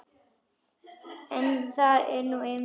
Það er nú einmitt það!